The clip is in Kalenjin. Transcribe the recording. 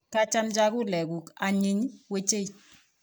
kacham chakulek kuk anyiny wechei